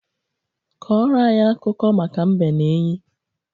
Kọrọ anyị akụkọ maka mbe na enyí.